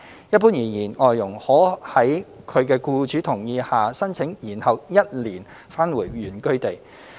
一般而言，外傭可在其僱主同意下申請延後1年返回原居地。